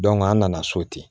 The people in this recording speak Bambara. an nana so ten